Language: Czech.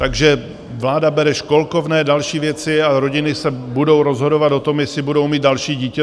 Takže vláda bere školkovné, další věci a rodiny se budou rozhodovat o tom, jestli budou mít další dítě.